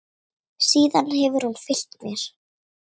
Síðan hefur hún fylgt mér.